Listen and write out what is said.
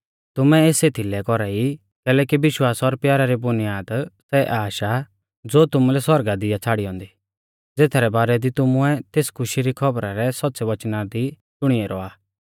तुमै एस एथीलै कौरा ई कैलैकि विश्वास और प्यारा री बुनियाद सै आश आ ज़ो तुमुलै सौरगा दी आ छ़ाड़ी औन्दी ज़ेथरै बारै दी तुमुऐ तेस खुशी री खौबरी रै सौच़्च़ै वचना दी शुणी ऐरौ आ